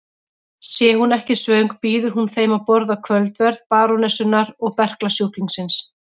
Sé hún ekki svöng býður hún þeim að borða kvöldverð barónessunnar og berklasjúklingsins.